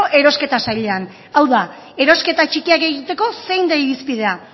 erosketa sailean hau da erosketa txikiak egiteko zein da irizpidea